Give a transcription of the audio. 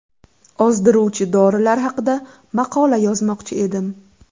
Ozdiruvchi dorilar haqida maqola yozmoqchi edim.